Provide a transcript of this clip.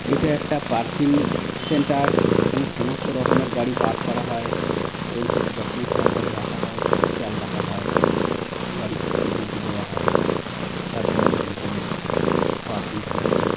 এটা একটা parking centre এখানে সমস্ত রকমের গাড়ি পার করা হয় এবং খুব যত্ন সহকারে রাখা হয় খেয়াল রাখা হয়। গাড়ি খুব সিকিউরিটি দেওয়া হয়। চার দেয়ালের ভিতরে। Parking system.